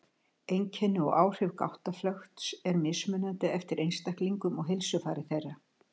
Einkenni og áhrif gáttaflökts eru mismunandi eftir einstaklingum og heilsufari þeirra.